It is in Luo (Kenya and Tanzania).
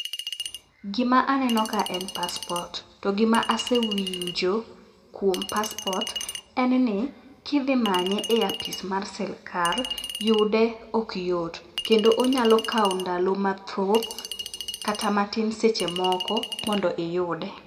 Gima aneno ka en passport, to gima asewinjo kuom passport en ni: kidhi manye e apis mar sirkal yude ok yot kendo onyalo kawo ndalo mathoth kata matin seche moko mondo iyude.